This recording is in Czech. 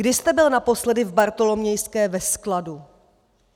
Kdy jste byl naposledy v Bartolomějské ve skladu?